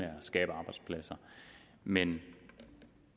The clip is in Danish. at skabe arbejdspladser men